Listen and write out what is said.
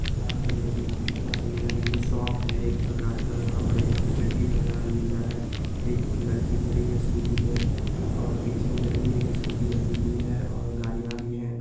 यहाँ पे देखिये आप कितना सुन्दर ये शॉप है एक प्रकार का यहाँ पर एक चड्डी पहना आदमी जा रहा है। एक लड़की खड़ी है स्कूटी पे और पीछे उधर भी एक स्कूटी लगी हुई है और गाड़िया भी हैं।